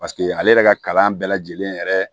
Paseke ale yɛrɛ ka kalan bɛɛ lajɛlen yɛrɛ